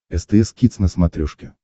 стс кидс на смотрешке